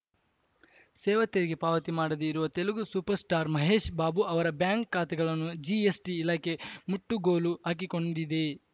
ಸೇವಾ ತೆರಿಗೆ ಪಾವತಿ ಮಾಡದೇ ಇರುವ ತೆಲಗು ಸೂಪರ್‌ ಸ್ಟಾರ್‌ ಮಹೇಶ್‌ ಬಾಬು ಅವರ ಬ್ಯಾಂಕ್‌ ಖಾತೆಗಳನ್ನು ಜಿಎಸ್‌ಟಿ ಇಲಾಖೆ ಮುಟ್ಟುಗೋಲು ಹಾಕಿಕೊಂಡಿದೆ